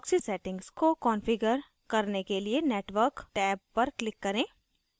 proxy settings को configure करने के लिए network टैब पर click करें